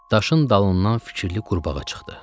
Daşın dalından fikirli qurbağa çıxdı.